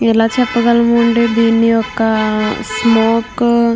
ఎలా చెప్పగలను అంటే దీని ఒక స్మోక్ --